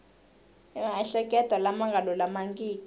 ni mahetelelo lama nga lulamangiki